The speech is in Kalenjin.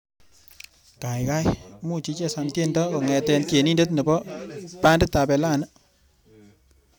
Gaigai muuch ichesan tuendo kongete tyenindet nebo banditab elani